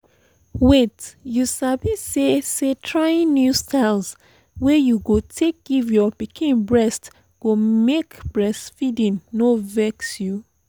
wait you sabi say say trying new style wey you go take give your pikin breast go make make breastfeeding no vex you